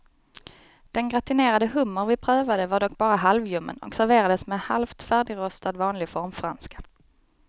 Den gratinerade hummer vi prövade var dock bara halvljummen och serverades med halvt färdigrostad vanlig formfranska.